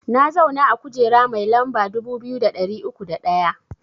Na zauna a kujera mai lamba dubu biyu da ɗari uku da ɗaya